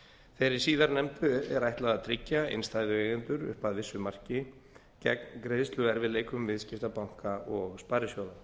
þeirri síðarnefndu er ætlað að tryggja innstæðueigendur upp að vissu marki gegn greiðsluerfiðleikum viðskiptabanka og sparisjóða